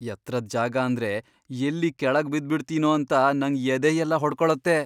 ಎತ್ರದ್ ಜಾಗ ಅಂದ್ರೆ ಎಲ್ಲಿ ಕೆಳಗ್ ಬಿದ್ಬಿಡ್ತೀನೋ ಅಂತ ನಂಗ್ ಎದೆಯೆಲ್ಲ ಹೊಡ್ಕೊಳತ್ತೆ.